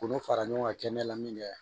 K'olu fara ɲɔgɔn kan kɛ ne la min kɛ